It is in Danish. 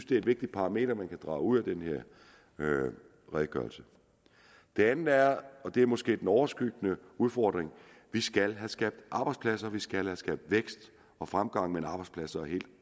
det er et vigtigt parameter man kan drage ud af den her redegørelse det andet er og det er måske den overskyggende udfordring at vi skal have skabt arbejdspladser vi skal have skabt vækst og fremgang men arbejdspladser er helt